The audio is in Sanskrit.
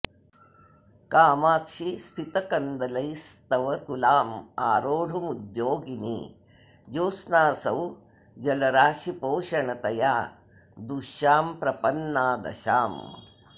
कामाक्षि स्मितकन्दलैस्तव तुलामारोढुमुद्योगिनी ज्योत्स्नासौ जलराशिपोषणतया दूष्यां प्रपन्ना दशाम्